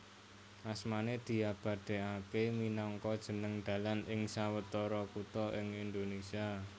Asmané diabadèkaké minangka jeneng dalan ing sawetara kutha ing Indonésia